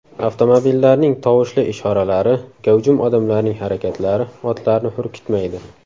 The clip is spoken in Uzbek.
Avtomobillarning tovushli ishoralari, gavjum odamlarning harakatlari otlarni hurkitmaydi.